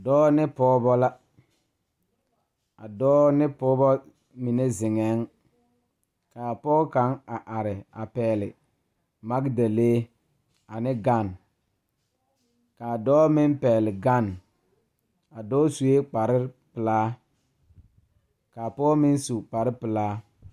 Dɔɔ ne pɔɔbɔ la a dɔɔ ne pɔɔbɔ mine zeŋɛɛŋ kaa pɔge kaŋ a are a pɛgle magdalee ane gane kaa dɔɔ meŋ pɛgle gane a dɔɔ suee kparepelaa kaa pɔɔ meŋ su kparepelaa.